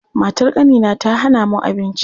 Matar ƙanina ta hana mu abinci.